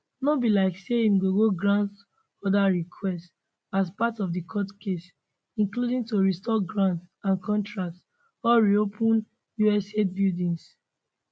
no be like say im go go grant oda requests as part of di court case including to restore grants and contracts or reopen usaid buildings